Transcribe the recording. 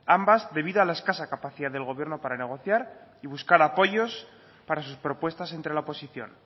ambas debido a la escasa capacidad del gobierno para negociar y buscar apoyos para sus propuestas entre la oposición